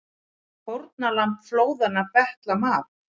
Fórnarlömb flóðanna betla mat